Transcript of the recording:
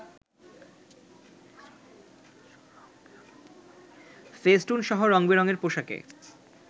ফেস্টুনসহ রং-বেরংয়ের পোশাকে